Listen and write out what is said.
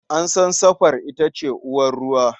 An san sarfa ita ce uwar ruwa.